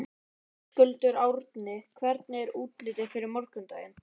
Höskuldur: Árni, hvernig er útlitið fyrir morgundaginn?